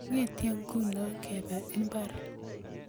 ongetye nguno kebe mbar